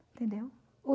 Entendeu?